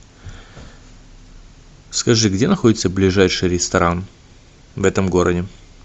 скажи где находится ближайший ресторан в этом городе